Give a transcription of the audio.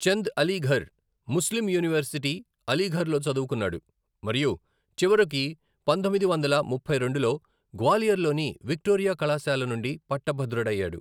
Chand Aligarh Muslim university, అలీఘర్లో చదువుకున్నాడు మరియు చివరకు పంతొమ్మిది వందల ముప్పై రెండులో గ్వాలియర్లోని విక్టోరియా కళాశాల నుండి పట్టభద్రుడయ్యాడు.